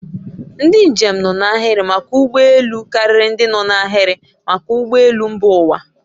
Ndị njem nọ n'ahịrị maka ụgbọ elu ụlọ karịrị ndị no n'ahiri maka ụgbọ elu mba ụwa